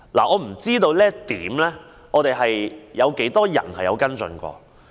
我不知這點有多少人曾經跟進。